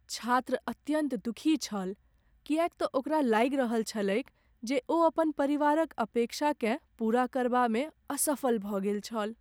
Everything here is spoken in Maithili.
छात्र अत्यन्त दुखी छल किएक तँ ओकरा लागि रहल छलैक जे ओ अपन परिवारक अपेक्षाकेँ पूरा करबामे असफल भऽ गेल छल।